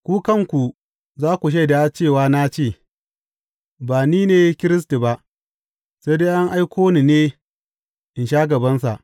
Ku kanku za ku shaida cewa na ce, Ba ni ne Kiristi ba, sai dai an aiko ni ne in sha gabansa.’